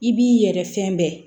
I b'i yɛrɛ fɛn bɛɛ